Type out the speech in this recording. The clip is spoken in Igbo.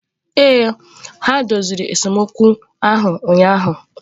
Ee, onye doziri esemokwu ahụ ụnyahụ.